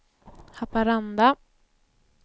Haparanda